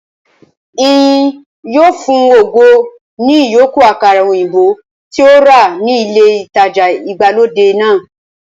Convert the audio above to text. Ìyìn yóò fun ògo ní ìyókù àkàrà òyìnbó tí ó rà ní ilé ìtajà ìgbàlódé náà